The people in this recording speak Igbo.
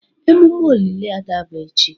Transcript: Emume olili Ada bụ echi.